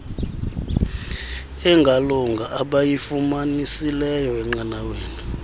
engalunga abayifumanisileyo enqanaweni